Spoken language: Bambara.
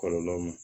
Kɔlɔlɔ ma